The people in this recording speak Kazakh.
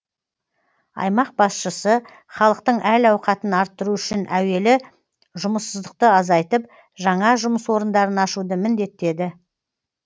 аймақ басшысы халықтың әл ауқатын арттыру үшін әуелі жұмыссыздықты азайтып жаңа жұмыс орындарын ашуды міндеттеді